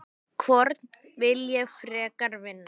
Hvorn vil ég frekar vinna?